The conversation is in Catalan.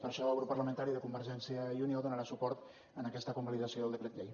per això el grup parlamentari de convergència i unió donarà suport a aquesta convalidació del decret llei